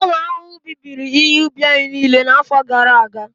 ụmụ ahụhụ bibiri ihe ubi anyị niile n'afọ gara aga